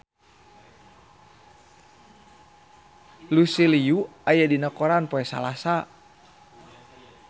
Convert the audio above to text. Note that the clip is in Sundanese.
Lucy Liu aya dina koran poe Salasa